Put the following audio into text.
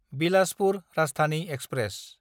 Bilaspur Rajdhani express